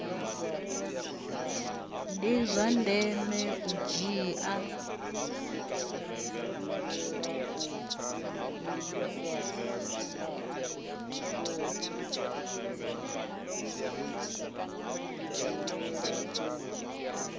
ndi zwa ndeme u dzhia